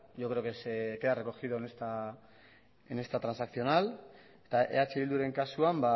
yo creo que se queda recogido en esta transaccional eta eh bilduren kasuan